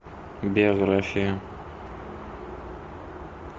биография